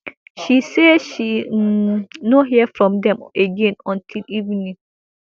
she say she um no hear from dem again until evening